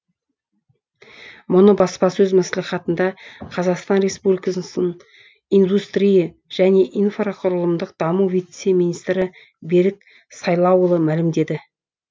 мұны баспасөз мәслихатында қазақстан республикасының индустрия және инфрақұрылымдық даму вице министрі берік сайлауұлы мәлімдеді